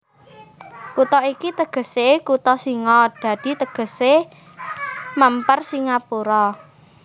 Kutha iki tegesé kutha singa dadi tegesé mèmper Singapura